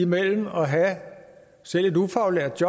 mellem at have selv et ufaglært